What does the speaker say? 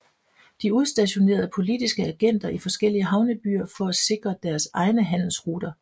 De udstationerede politiske agenter i forskellige havnebyer for at sikre deres egne handelsruter